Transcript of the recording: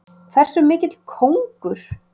Hversu mikill kóngur!